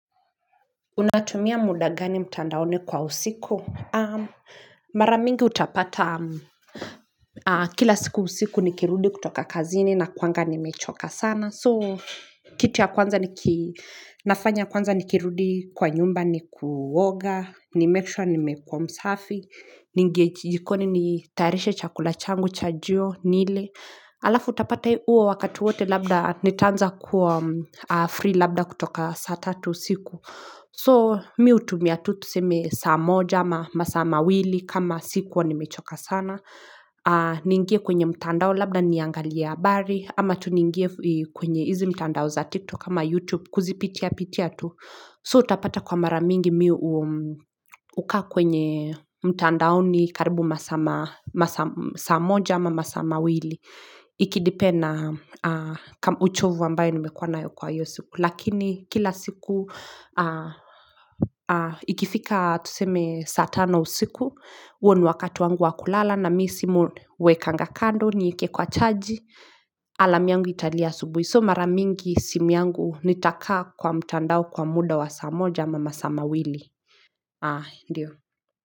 Unatumia muda gani mtandaoni kwa usiku. Mara mingi utapata kila siku usiku nikirudi kutoka kazini nakuanga nimechoka sana. So kitu ya kwanza ninafanya kwanza nikirudi kwa nyumba ni kuoga, nimake sure ni mekuwa msafi, ningejikoni nitayarishe chakula changu chajio nile. Alafu utapata uo wakati wote labda nitanza kuwa free labda kutoka saa tatu siku. So mi utumia tu tuseme saa moja ama masaa mawili kama sikuwa nimechoka sana. Ningie kwenye mtandao labda niangalia habari ama tu ningie kwenye izi mtandao za tiktok ama youtube kuzipitia pitia tu. So utapata kwa maramingi mi uka kwenye mtandao ni karibu masaa ma saamoja ama masa mawili. Ikidepend uchovu ambayo nimekuwa nayo kwa hiyo siku lakini kila siku Ikifika tuseme satano usiku, uo ni wakati wangu wa kulala na mi simu wekanga kando nieke kwa chaaji Alarm yangu italia asubuhi so maramingi simu yangu nitaka kwa mtandao kwa muda wa samoja ama masama wili.